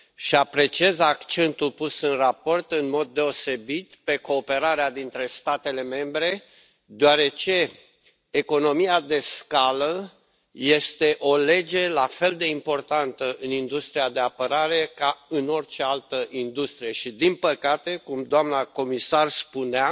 Apreciez accentul pus în raport în mod deosebit pe cooperarea dintre statele membre, deoarece economia de scală este o lege la fel de importantă în industria de apărare ca în orice altă industrie și, din păcate, cum doamna comisar spunea,